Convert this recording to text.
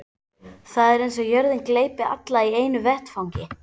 Það er eins og jörðin gleypi alla í einu vetfangi.